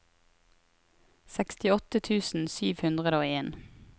sekstiåtte tusen sju hundre og en